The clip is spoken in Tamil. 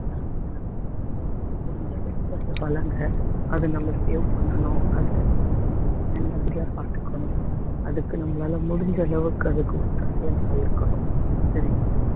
தானங்களை வாங்குங்க முடிஞ்ச வரைக்கும் அதை வளங்க அது நம்ம save பண்ணணும் அதை நல்ல படியா பாத்துக்கணும் அதுக்கு நம்மளால முடிஞ்ச அளவுக்கு அதுக்கு ஒத்தாசயா நம்ம இருக்கணும் சரிங்களா